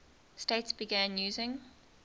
states began using